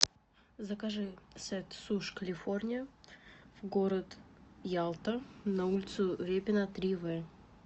закажи сет суш калифорния в город ялта на улицу репина три в